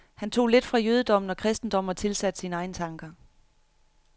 Han tog lidt fra jødedommen og kristendommen og tilsatte sine egne tanker.